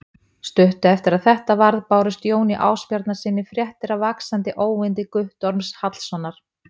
Stuttu eftir að þetta varð bárust Jóni Ásbjarnarsyni fréttir af vaxandi óyndi Guttorms Hallssonar.